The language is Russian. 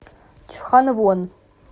чханвон